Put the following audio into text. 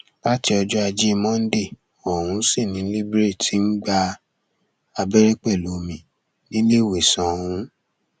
láti ọjọ ajé monde ọhún sì ni libre ti ń gba abẹrẹ pẹlú omi níléèwésàn ọhún